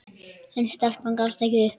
En stelpan gafst ekki upp.